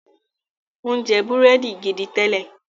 o njẹ Búrẹ́dì gìdí télè